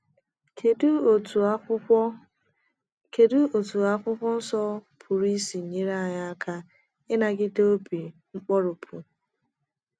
kedụ otú akwụkwo kedụ otú akwụkwo nsọ pụrụ isi nyere anyị aka ịnagide obi nkoropụ?